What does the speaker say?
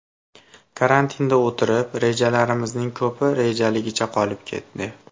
Karantinda o‘tirib, rejalarimizning ko‘pi rejaligicha qolib ketdi.